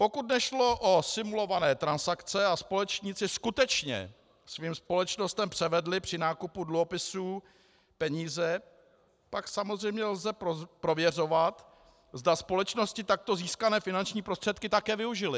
Pokud nešlo o simulované transakce a společníci skutečně svým společnostem převedli při nákupu dluhopisů peníze, pak samozřejmě lze prověřovat, zda společnosti takto získané finanční prostředky také využily.